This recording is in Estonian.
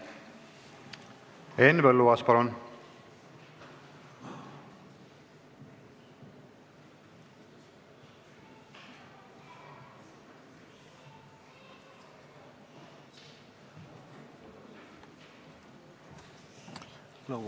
Henn Põlluaas, palun!